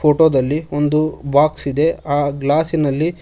photo ದಲ್ಲಿ ಒಂದು box ಇದೆ ಆ ಗ್ಲಾಸಿನಲ್ಲಿ--